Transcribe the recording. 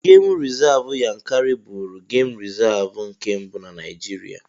Gemụ rizavụ Yankari bụụrụ gem rizavụ nke mbụ na Naijiria.